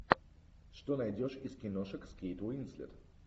что найдешь из киношек с кейт уинслет